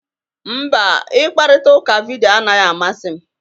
Mba, ịkparịta ụka vidiyo anaghị amasị m.